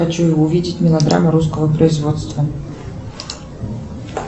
хочу увидеть мелодраму русского производства